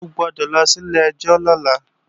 O gbọ́dọ̀ lọ sí ilé-ẹjọ́ lọ́la!